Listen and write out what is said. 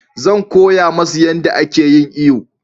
Zan koya musu yanda a ke yin iyo